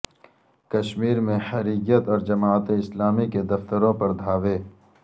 کشمیر میں حریت اور جماعت اسلامی کے دفتروں پر دھاوے